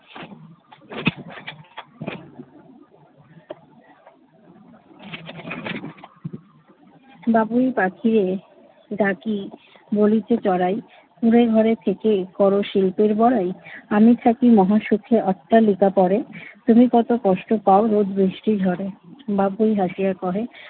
বাবুই পাখিরে ডাকি বলিছে চড়াই, কুঁড়ে ঘরে থেকে কর শিল্পের বড়াই, আমি থাকি মহাসুখে অট্টালিকা পড়ে তুমি কত কষ্ট পাও রোদ, বৃষ্টি, ঝড়ে। বাবুই হাসিয়া কহে,